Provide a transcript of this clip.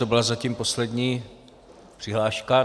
To byla zatím poslední přihláška.